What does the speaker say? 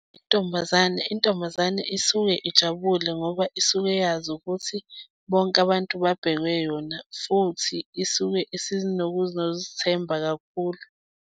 Intombazane. Intombazane isuke ijabule ngoba isuke yazi ukuthi bonke abantu babhekwe yona, futhi isuke isinokuzithemba kakhulu.